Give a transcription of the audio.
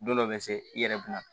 Don dɔ bɛ se i yɛrɛ bɛ na